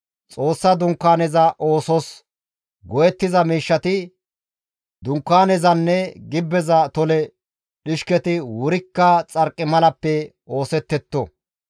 «Xoossa Dunkaaneza oosos go7ettiza miishshati, Dunkaanezanne gibbeza tole dhishketi wurikka xarqimalappe oosettetto.